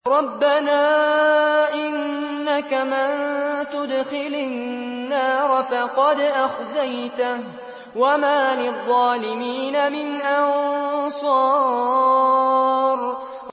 رَبَّنَا إِنَّكَ مَن تُدْخِلِ النَّارَ فَقَدْ أَخْزَيْتَهُ ۖ وَمَا لِلظَّالِمِينَ مِنْ أَنصَارٍ